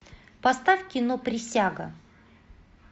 поставь кино присяга